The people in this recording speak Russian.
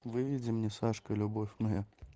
выведи мне сашка любовь моя